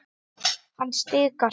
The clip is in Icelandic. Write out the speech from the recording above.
Hann stikar.